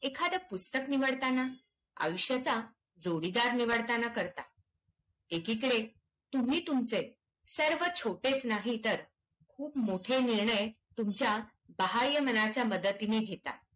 एखादं पुस्तक निवडताना, आयुष्याचा जोडीदार निवडताना करता. एकीकडे तुम्ही तुमचे सर्व छोटेच नाही तर खूप मोठे निर्णय तुमच्या बाह्यमनाच्या मदतीने घेता.